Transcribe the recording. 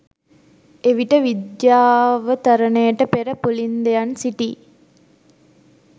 එවිට විජ්යාවතරණයට පෙර පුලින්දයන් සිටි